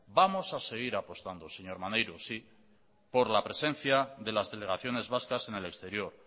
vamos a seguir apostando señor maneiro por la presencia de las delegaciones vascas en el exterior